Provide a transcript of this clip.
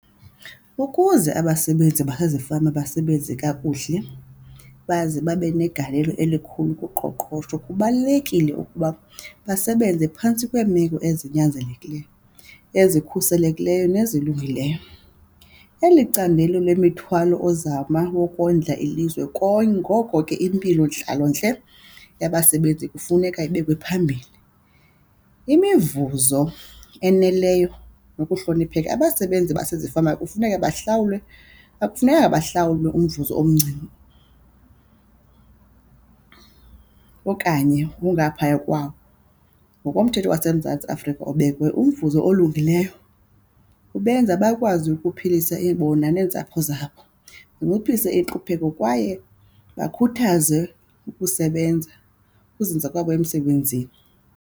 Ukuze abasebenzi basezifama basebenze kakuhle baze babe negalelo elikhulu kuqoqosho kubalulekile ukuba basebenze phantsi kweemeko ezinyanzelekileyo, ezikhuselekileyo nezilungileyo. Eli candelo lemithwalo ozama yokondla ilizwe ngoko ke impilo intlalontle yabasebenzi kufuneka ibekwe phambili. Imivuzo eneleyo nokuhlonipheka, abasebenzi basezifama kufuneka bahlawule akufunekanga bahlawule umvuzo omncinci okanye ongaphaya kwawo ngokomthetho waseMzantsi Afrika ubekiweyo. Umvuzo olungileyo ubenza bakwazi ukuphilisa bona neentsapho zabo, zinciphise intlupheko kwaye bakhuthaze ukusebenza ukuzinza kwabo emsebenzini.